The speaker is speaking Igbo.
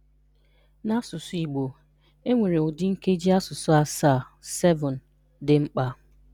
N’asụsụ Igbo, e nwere ụdi nkeji asụsụ asaa (7) dị mkpa.